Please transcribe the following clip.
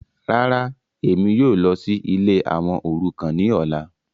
Ràrà, Emi yóò lọ si ìlé awọn orukan ni ọla